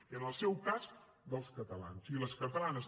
i en el seu cas dels catalans i les catalanes